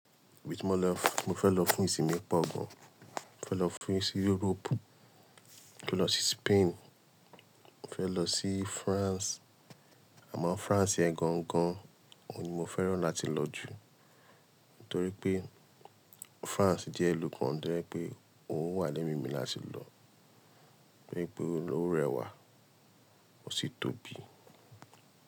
With more love, mo fẹ́ lọ fún ìsinmi pọ̀ gan. Mo fẹ́ lọ fún si Europe. Mo fẹ́ lọ sí Spain, mo fẹ́ lọ sí France. Àmọ́ France ẹ gangan. Òun ni mo fẹ́ràn láti lọ jù torí pé France jẹ́ ìlú kan tó ye pé òun wà lẹ́mímì láti lọ. Toripe ó rẹwà ó sì tóbi.